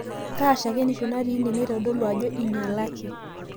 Kaa shakenisho natii ine naitodolu ajo einyialaki?